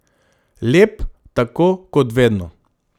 Lep, tako kot vedno.